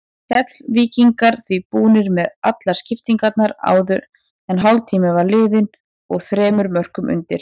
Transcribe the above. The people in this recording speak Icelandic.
Keflvíkingar því búnir með allar skiptingarnar áður en hálftími var liðinn og þremur mörkum undir.